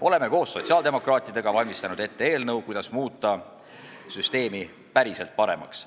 Oleme koos sotsiaaldemokraatidega valmistanud ette eelnõu, kuidas muuta süsteemi päriselt paremaks.